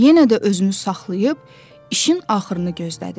Yenə də özünü saxlayıb işin axırını gözlədi.